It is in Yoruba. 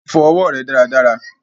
Fọ ọwọ rẹ dáràdárà!